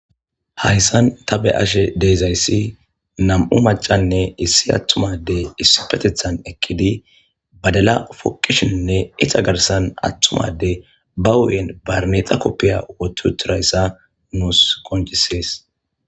Hayssan ta be ashe deezayssi nam'u macanne issi attumadey issi petethan ekkidi badala foqishinnne ita garsan attumade ba wuyen barmexa koppiya wotu turayssa nuus koncisees.